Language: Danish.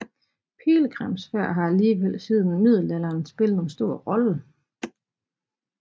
Pilgrimsfærd har alligevel siden middelalderen spillet en stor rolle